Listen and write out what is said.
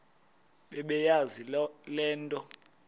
bebeyazi le nto